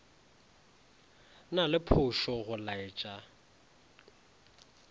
na le phošo go laetša